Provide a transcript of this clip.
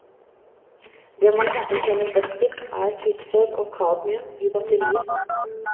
Det man kanskje kjenner best til, er kvikksølv og kadmium i batterier.